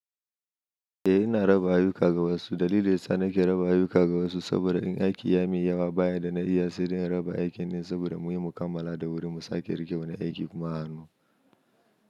Eh ina raba ayyuka ga wasu. Dalilin daya sa nake raba ayyuka ga wasu saboda in aiki ya min yawa ba yanda na iya se dai in raba aikin saboda muyi mu kammala da wuri mu sake riƙewa na aiki kuma a hannu.